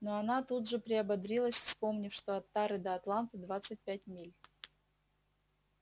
но она тут же приободрилась вспомнив что от тары до атланты двадцать пять миль